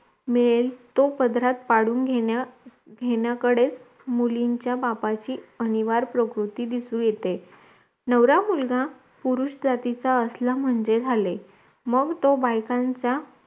मिळेल तो पदरात पाडून घेण्या घेण्याकडे मुलींचा बापाची अनिवार प्रकृती दिसून येते नवरा मुलगा पुरुष जातीचा असला म्हणजे झाले मग तो बायकांचा